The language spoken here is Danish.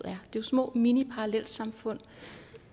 er jo små miniparallelsamfund